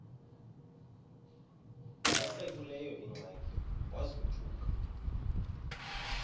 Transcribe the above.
esekuleyo ingxaki wazothuka